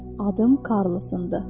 Adım Karlosundur.